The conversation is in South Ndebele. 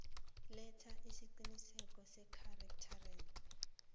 letha isiqinisekiso sechartered